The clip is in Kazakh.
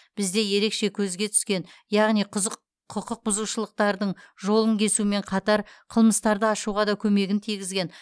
бізде ерекше көзге түскен яғни құқықбұзушылықтардың жолын кесумен қатар қылмыстарды ашуға да көмегін тигізген